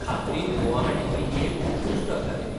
खात्रीन, गुवाहाटींतली ही एक उत्कृश्ट अकादेमी.